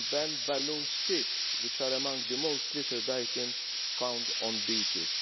It will ban balloon sticks, which are among the most littered items found on beaches.